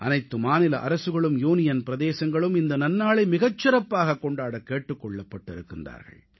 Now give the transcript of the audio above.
அனைத்து மாநில அரசுகளும் யூனியன் பிரதேசங்களும் இந்த நன்னாளை மிகச் சிறப்பாக கொண்டாடக் கேட்டுக் கொள்ளப்பட்டிருக்கிறார்கள்